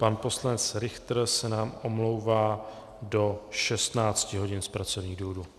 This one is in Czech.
Pan poslanec Richter se nám omlouvá do 16 hodin z pracovních důvodů.